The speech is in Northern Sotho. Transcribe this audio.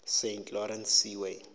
saint lawrence seaway